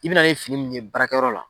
I bɛna ni fini min ye baarakɛyɔrɔ la